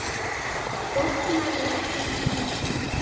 Botnaði ekkert í þessu.